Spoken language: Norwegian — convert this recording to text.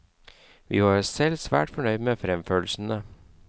Vi var selv svært fornøyd med fremførelsene.